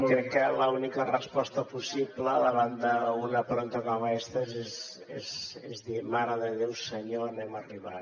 crec que l’única resposta possible davant d’una pregunta com aquesta és dir mare de déu senyor on hem arribat